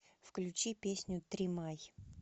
включи песню тримай